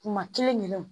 Kuma kelen yɛrɛw